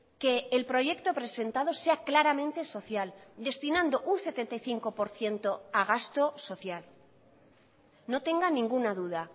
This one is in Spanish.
que el proyecto presentado sea claramente social destinando un setenta y cinco por ciento a gasto social no tenga ninguna duda